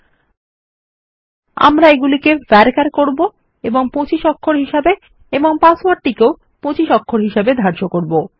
এরপর আমরা এগুলিকে ভারচার করব এবং আমি 25 অক্ষর হিসাবে এবং পাসওয়ার্ড টিকেও 25 অক্ষর হিসাবে করব